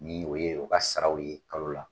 Ni o ye o ka saraw ye kalo la